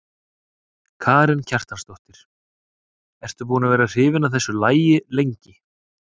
Karen Kjartansdóttir: Ertu búin að vera hrifin af þessu lagi lengi?